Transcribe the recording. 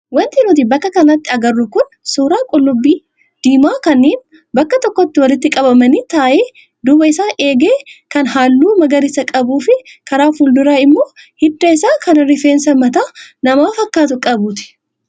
Wanti nuti bakka kanatti agarru kun suuraa qullubbii diimaa kanneen bakka tokkotti walitti qabaman ta'ee duuba isaa eegee kan halluu magarisa qabuu fi karaa fuulduraa immoo hidda isaa kan rifeensa mataa namaa fakkaatu qabu.